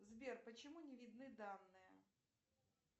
сбер почему не видны данные